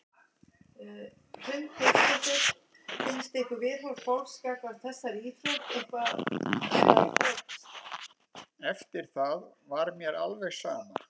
Eftir það var mér alveg sama.